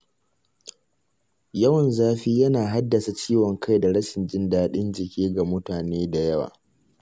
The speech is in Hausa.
Yawan zafi yana haddasa ciwon kai da rashin jin daɗin jiki ga mutane da yawa.